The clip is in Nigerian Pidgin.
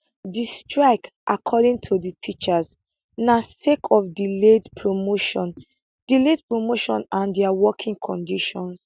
di strike according to di teachers na sake of delayed promotion delayed promotion and dia working conditions